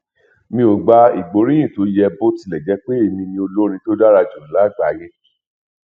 mi ò gba ìgbóríyìn tó yẹ bó ti lè jẹ pé èmi ni olórin tó dára jù lágbàáyà